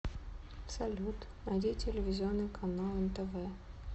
салют найди телевизионный канал нтв